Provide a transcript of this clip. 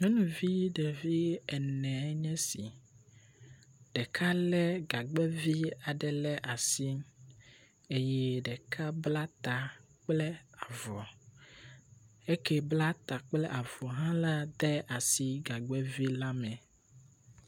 Nyɔnuvi viɖe ene enye esi. Ɖeka lé gagbɛvi aɖe le asi eye ɖeka bla ta kple avɔ. Esi bla ta kple avɔ hã la de asi gagbɛvi la me.